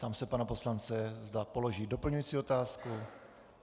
Ptám se pana poslance, zda položí doplňující otázku.